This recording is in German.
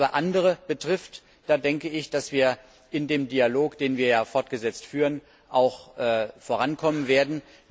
Was aber andere betrifft, denke ich, dass wir mit dem Dialog, den wir fortgesetzt führen, vorankommen werden.